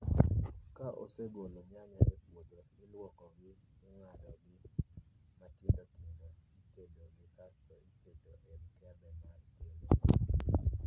Ka osegol nyanya e puodho, iluoko gi, ing'ado gi matindo tindo, itedo gi kasto iketo e mkebe mar keno